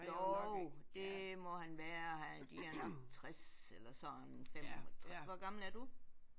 Jo det må han være de er nok 60 eller sådan 65. Hvor gammel er du?